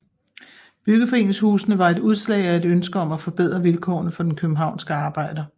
Byggeforeningshusene var et udslag af et ønske om at forbedre vilkårene for den københavnske arbejder